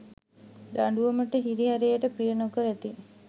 දඬුවමට හිරිහැරයට ප්‍රිය නොකරති.